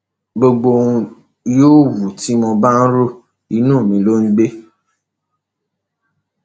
gbogbo ohun yòówù tí mo bá ro inú mi ló ń gbé